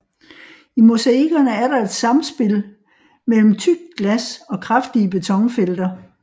I mosaikkerne er der et samspil mellem tykt glas og kraftige betonfelter